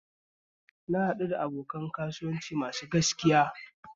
Na haɗu da abokin kasuwanci mai gaskiya